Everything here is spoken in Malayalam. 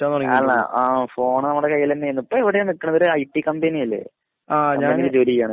ആഹ് ആ ഫോൺ നമ്മളെ കയില്ലെന്നേന്നു. ഇപ്പൊ എവടെ നിക്കിണത്? ഒരു ഐ ടി കമ്പനിയല്ലേ? ജോലി ചെയ്യണേ?